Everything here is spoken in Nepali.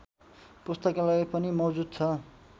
पुस्तकालय पनि मौजूद छ